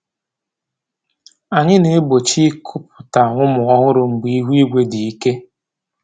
Anyị na-egbochi ikuputa ụmụ ọhụrụ mgbe ihu eluigwe dị ike